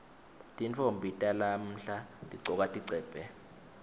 tintfombi talamuhla tigcoka tigcebhe